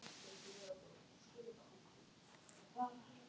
Þorbjörn Þórðarson: Hvernig er hljóðið í áhöfninni í ljósi verkfallsins?